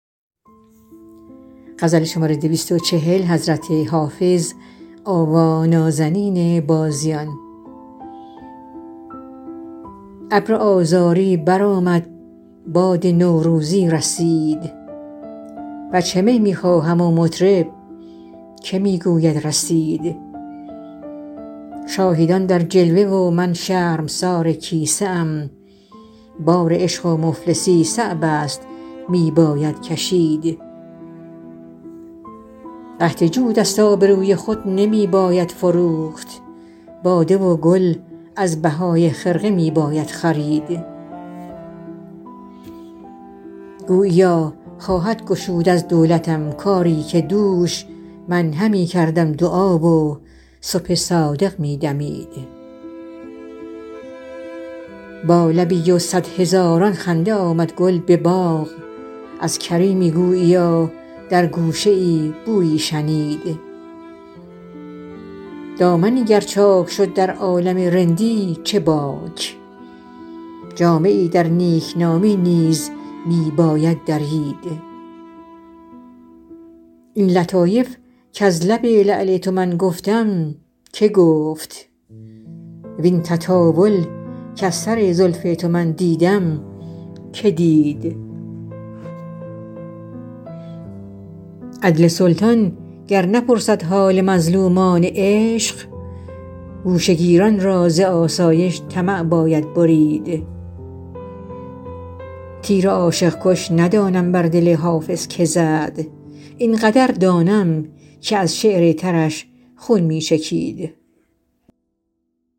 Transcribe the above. ابر آذاری برآمد باد نوروزی وزید وجه می می خواهم و مطرب که می گوید رسید شاهدان در جلوه و من شرمسار کیسه ام بار عشق و مفلسی صعب است می باید کشید قحط جود است آبروی خود نمی باید فروخت باده و گل از بهای خرقه می باید خرید گوییا خواهد گشود از دولتم کاری که دوش من همی کردم دعا و صبح صادق می دمید با لبی و صد هزاران خنده آمد گل به باغ از کریمی گوییا در گوشه ای بویی شنید دامنی گر چاک شد در عالم رندی چه باک جامه ای در نیکنامی نیز می باید درید این لطایف کز لب لعل تو من گفتم که گفت وین تطاول کز سر زلف تو من دیدم که دید عدل سلطان گر نپرسد حال مظلومان عشق گوشه گیران را ز آسایش طمع باید برید تیر عاشق کش ندانم بر دل حافظ که زد این قدر دانم که از شعر ترش خون می چکید